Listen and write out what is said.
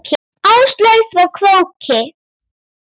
Áslaug frá Króki.